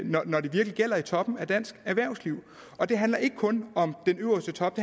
når det virkelig gælder i toppen af dansk erhvervsliv og det handler ikke kun om den øverste top